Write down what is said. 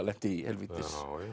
lenti í helvítis